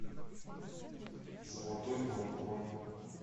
золотой двор бронь